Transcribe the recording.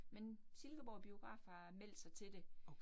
Men Silkeborg Biograf har meldt sig til det